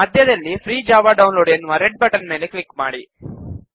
ಮಧ್ಯದಲ್ಲಿ free Java download ಎನ್ನುವ red button ಮೇಲೆ ಕ್ಲಿಕ್ ಮಾಡಿ